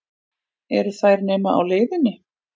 Eru þær nema á leiðinni?